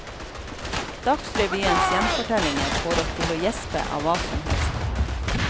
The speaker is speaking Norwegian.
Dagsrevyens gjenfortellinger får oss til å gjespe av hva som helst.